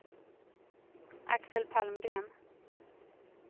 Axel Palmgren